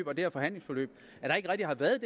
her forhandlingsforløb at der ikke rigtig har været